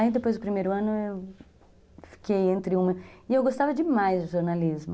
Aí depois do primeiro ano eu fiquei entre uma... E eu gostava demais de jornalismo.